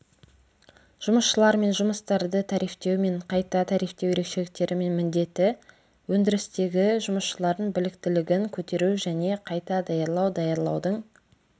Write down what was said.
жұмысшылар мен жұмыстарды тарифтеу мен қайта тарифтеу ерекшеліктері мен міндеті өндірістегі жұмысшылардың біліктілігін көтеру және қайта даярлау даярлаудың